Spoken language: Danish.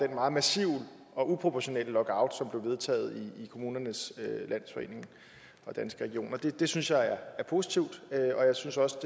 den meget massive og uproportionelle lockout som blev vedtaget i kommunernes landsforening og danske regioner det det synes jeg er positivt jeg synes også